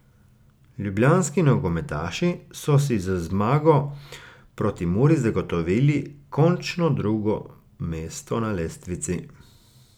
Ljubljanski nogometaši so si z zmago proti Muri zagotovili končno drugo mesto na lestvici.